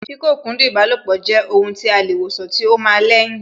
Kí kókúndùn ìbálòpọ̀ jù jẹ́ ohun tí a lè wòsàn tí ó ma ń lẹ́yìn